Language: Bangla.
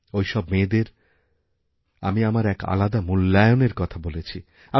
ওইসব মেয়েদের আমি আমার এক আলাদা মূল্যায়নের কথা বলেছি